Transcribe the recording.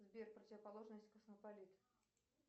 сбер противоположность космополиту